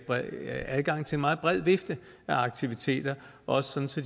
adgang til en meget bred vifte af aktiviteter også så